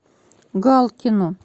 галкину